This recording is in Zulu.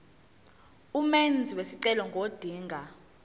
umenzi wesicelo ngodinga